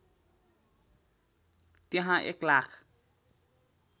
त्यहाँ १ लाख